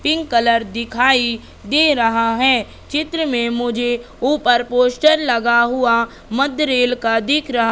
pink colour दिखाई दे रहा है चित्र में मुझे ऊपर मुझे पोस्टर लगा हुआ मध्य रेल का दिख रहा--